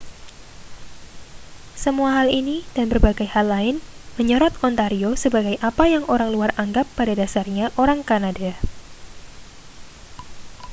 semua hal ini dan berbagai hal lain menyorot ontario sebagai apa yang orang luar anggap pada dasarnya orang kanada